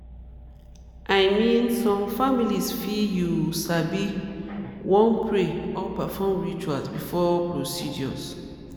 i mean some families fit you sabi wan pray or perform rituals before procedures.